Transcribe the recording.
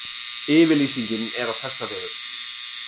Yfirlýsingin er á þessa vegu